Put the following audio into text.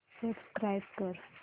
subscribe कर